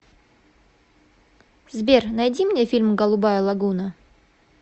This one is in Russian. сбер найди мне фильм голубая логуна